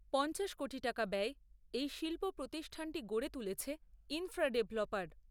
পঞ্চাশ কোটি টাকা ব্যয়ে এই শিল্প প্রতিষ্ঠানটি গড়ে তুলেছে ইনফ্রা ডেভেলপার।